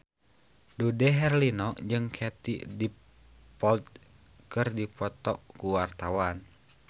Dude Herlino jeung Katie Dippold keur dipoto ku wartawan